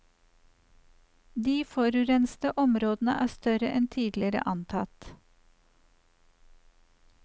De forurensede områdene er større enn tidligere antatt.